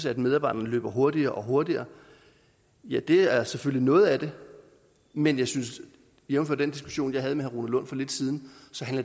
at medarbejderne løber hurtigere og hurtigere ja det er selvfølgelig noget af det men jeg synes jævnfør den diskussion jeg havde med herre rune lund for lidt siden